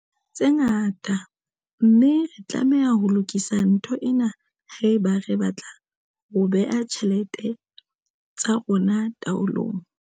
tse ngata, mme re tlameha ho lokisa ntho ena haeba re batla ho bea ditjhelete tsa rona taolong.